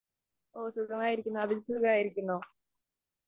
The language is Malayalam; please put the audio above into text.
ഓ, സുഖമായിരിക്കുന്നു. അഭിജിത്ത് സുഖമായിരിക്കുന്നോ?